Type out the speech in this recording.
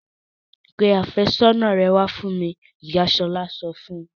Pe àfẹ́sọ́nà rẹ wá fún mi! Ìyá Ṣọlá sọ fún un.